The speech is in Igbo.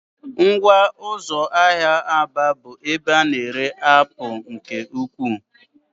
Ngwa ụzọ ahịa Aba bụ ebe a na-ere apụl nke ukwuu.